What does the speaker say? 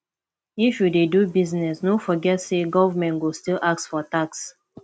if you dey do business no forget say government go still ask for tax